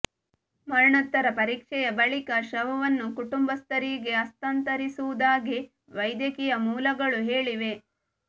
ಮರಣೋತ್ತರ ಪರೀಕ್ಷೆಯ ಬಳಿಕ ಶವವನ್ನು ಕುಟುಂಬಸ್ಥರಿಗೆ ಹಸ್ತಾಂತರಿಸುವುದಾಗಿ ವೈದ್ಯಕೀಯ ಮೂಲಗಳು ಹೇಳಿವೆ